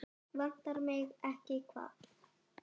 Ekki bara enn eins árs?